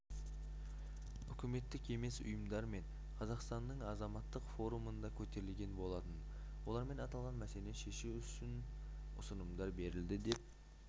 үкіметтік емес ұйымдармен қазақстанныңазаматтық форумында көтерілген болатын олармен аталған мәселені шешу үшін ұсынымдар берілді деп